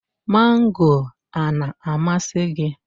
Mango a na-amasị gị?